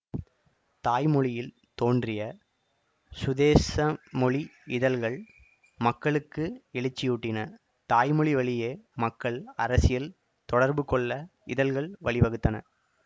தாய்மொழியில் தோன்றிய சுதேசமொழி இதழ்கள் மக்களுக்கு எழுச்சியூட்டின தாய்மொழி வழியே மக்கள் அரசியல் தொடர்பு கொள்ள இதழ்கள் வழிவகுத்தன